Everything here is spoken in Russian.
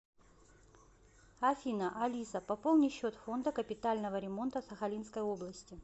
афина алиса пополни счет фонда капитального ремонта сахалинской области